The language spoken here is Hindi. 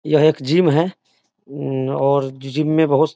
यह एक जिम है हम्म और जिम में बहुत --